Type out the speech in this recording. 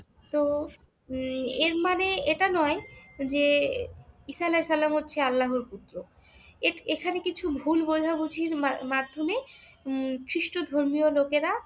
তো উম এর মানে এটা নয় যে ঈসা আলাইসাল্লাম হচ্ছেন আল্লাহ্‌র পুত্র। এখানে কিছু ভুলবোঝাবুঝির মাধ্যমে উম খ্রীষ্ট-ধর্মীয় লোকেরা